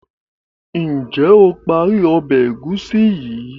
njé o parí Ọbẹ̀ egusi yi?